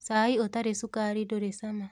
Cai ũtarĩ cukari ndũrĩ cama.